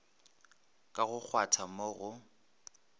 ka go kgwatha mo go